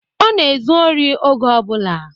Ọ na-ezu ori oge ọbụla